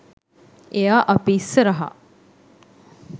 එයා අපි ඉස්සරහා